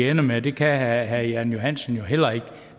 ender med det kan herre jan johansen jo heller ikke